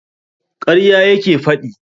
Ƙarya yake faɗi.